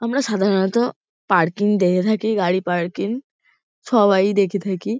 আমরা সাধারণত পার্কিং দেখে থাকি গাড়ি পার্কিং সবাই দেখে থাকি।